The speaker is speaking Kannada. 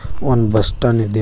ಒಂದ್ ಬಸ್ ಸ್ಟಾಂಡ್ ಇದೆ ಬಸ್ --